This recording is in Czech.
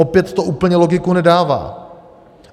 Opět to úplně logiku nedává.